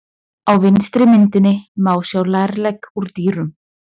Á vinstri myndinni má sjá lærlegg úr dýrum.